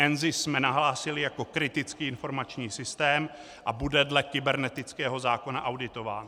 NZIS jsme nahlásili jako kritický informační systém a bude dle kybernetického zákona auditován.